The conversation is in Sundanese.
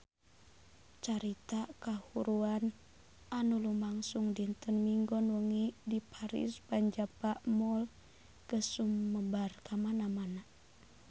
Carita kahuruan anu lumangsung dinten Minggon wengi di Paris van Java Mall geus sumebar kamana-mana